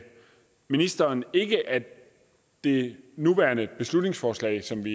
ministeren synes jeg ikke at det nuværende beslutningsforslag som vi